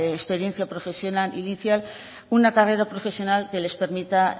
experiencia profesional inicial una carrera profesional que les permita